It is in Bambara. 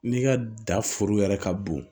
N'i ka da foro yɛrɛ ka bon